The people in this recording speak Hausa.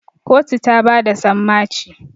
kotu ta bada sammaci